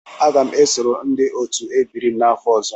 Aga m esoro ndị otu ebiri m n'afọ ọzọ.